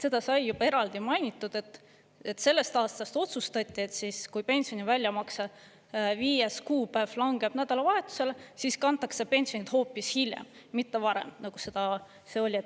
Seda sai juba eraldi mainitud, et sellest aastast otsustati, et siis, kui pensioni väljamakse viies kuupäev langeb nädalavahetusele, siis kantakse pensionid hoopis hiljem, mitte varem, nagu see oli.